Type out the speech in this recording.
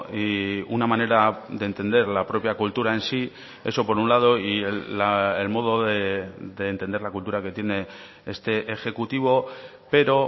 y una manera de entender la propia cultura en sí eso por un lado y el modo de entender la cultura que tiene este ejecutivo pero